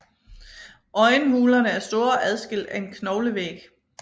Øjenhulerne er store og adskilt af en knoglevæg